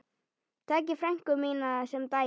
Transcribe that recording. Takið frænku mína sem dæmi.